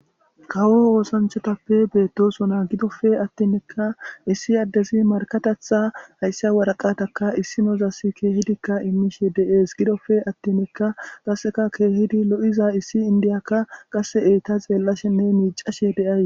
Kawo oosanchatappe beettosona gidofe attinnekka issi addezi markatatha haysse waraqataka issi nozasi keehidikka immishe deees gidofe attinekka qasseka keehidi lo7iza issi indiyakka qasse eyta xeellashenne miicashe deays.